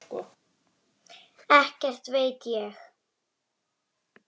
Ekkert veit ég.